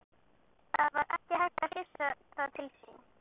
Það var ekki hægt að hrifsa það til sín.